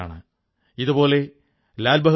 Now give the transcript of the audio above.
പൊൻ മാരിയപ്പൻജീ വണക്കം നല്ലാ ഇരുക്കീങ്കളാ